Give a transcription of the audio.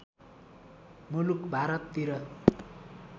मुलुक भारततिर